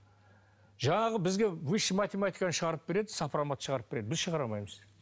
жаңағы бізге высшая математиканы шығарып береді сопромат шығарып береді біз шығара алмаймыз